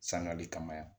Sangare kama yan